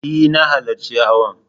E, na halarci hawan.